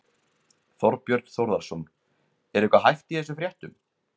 Þorbjörn Þórðarson: Er eitthvað hæft í þessum fréttum?